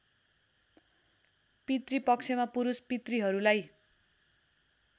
पितृ पक्षमा पुरूष पितृहरूलाई